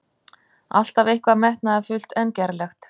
Alltaf eitthvað metnaðarfullt en gerlegt.